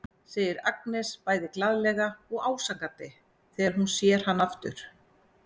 segir Agnes bæði glaðlega og ásakandi þegar hún sér hann aftur.